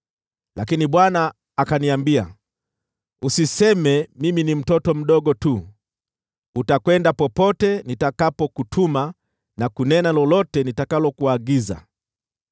Lakini Bwana akaniambia, “Usiseme, ‘Mimi ni mtoto mdogo tu.’ Utaenda popote nitakapokutuma na kunena lolote nitakalokuagiza.